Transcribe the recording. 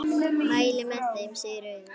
Mæli með þeim, segir Auður.